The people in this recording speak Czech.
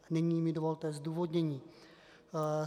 Nyní mi dovolte zdůvodnění.